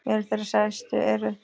Meðal þeirra stærstu eru